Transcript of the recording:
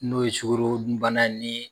N'o ye sugoroodun bana ye nii